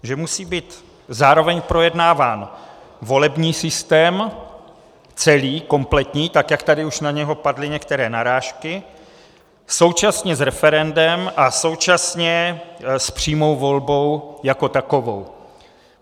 Že musí být zároveň projednáván volební systém, celý, kompletní, tak jak tady už na něj padly některé narážky, současně s referendem a současně s přímou volbou jako takovou.